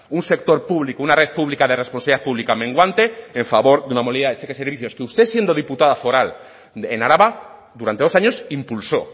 un sector público una red pública de responsabilidad pública menguante en favor de una de cheque servicios que usted siendo diputada foral en araba durante dos años impulsó